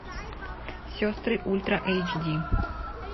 сестры ультра эйч ди